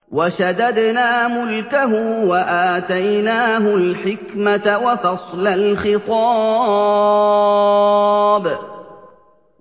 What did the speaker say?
وَشَدَدْنَا مُلْكَهُ وَآتَيْنَاهُ الْحِكْمَةَ وَفَصْلَ الْخِطَابِ